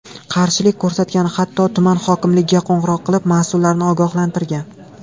Qarshilik ko‘rsatgan, hatto tuman hokimligiga qo‘ng‘iroq qilib, mas’ullarni ogohlantirgan.